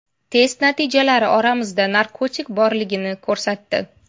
Test natijalari organizmda narkotik borligini ko‘rsatdi.